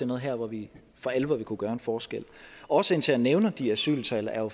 noget her hvor vi for alvor vil kunne gøre en forskel årsagen til at jeg nævner de asyltal er